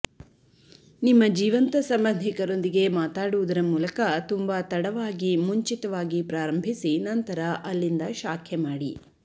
ನಿಮ್ಮ ಜೀವಂತ ಸಂಬಂಧಿಕರೊಂದಿಗೆ ಮಾತಾಡುವುದರ ಮೂಲಕ ತುಂಬಾ ತಡವಾಗಿ ಮುಂಚಿತವಾಗಿ ಪ್ರಾರಂಭಿಸಿ ನಂತರ ಅಲ್ಲಿಂದ ಶಾಖೆ ಮಾಡಿ